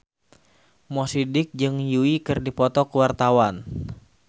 Mo Sidik jeung Yui keur dipoto ku wartawan